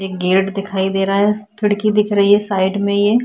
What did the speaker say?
एक गेट दिखाई दे रहा है खिड़की दिख रही है साइड में ये--